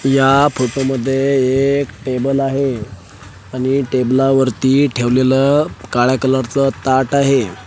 या फोटो मध्ये एक टेबल आहे आणि टेबला वरती ठेवलेलं काळ्या कलर चं ताट आहे.